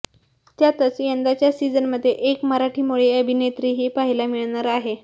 त्यातच यंदाच्या सिझनमध्ये एक मराठीमोळी अभिनेत्रीही पाहायला मिळणार आहे